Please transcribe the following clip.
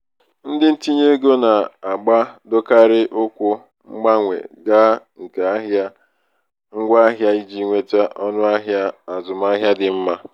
ndị ntinyeego na-agbadokarị ụkwụ mgbanwe ga nke ahịa ngwaahịa iji nweta ọnụahịa azụmahịa dị mma.